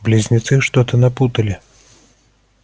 близнецы что-то напутали